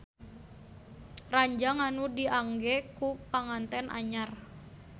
Ranjang anu diangge ku panganten anyar